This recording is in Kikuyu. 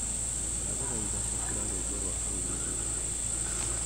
ndaguthaitha cokera rwimbo rwa hau mũthia